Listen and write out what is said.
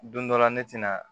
Don dɔ la ne tɛna